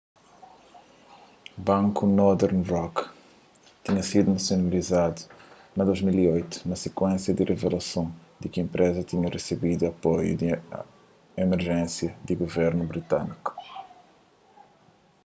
banku northern rock tinha sidu nasionalizadu na 2008 na sikuénsia di revelason di ki enpreza tinha resebidu apoiu di emerjénsia di guvernu britâniku